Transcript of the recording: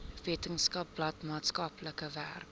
weskaapland maatskaplike werk